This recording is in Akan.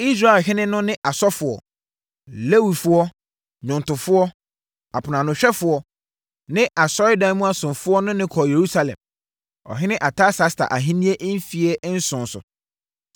Israelhene no ne asɔfoɔ, Lewifoɔ, nnwomtofoɔ, aponoanohwɛfoɔ ne asɔredan mu asomfoɔ ne no kɔɔ Yerusalem, ɔhene Artasasta ahennie mfeɛ nson so.